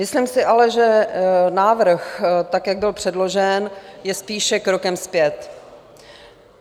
Myslím si ale, že návrh, tak jak byl předložen, je spíše krokem zpět.